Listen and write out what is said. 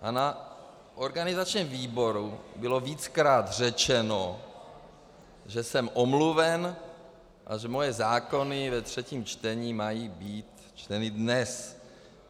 A na organizačním výboru bylo víckrát řečeno, že jsem omluven a že moje zákony ve třetím čtení mají být čteny dnes.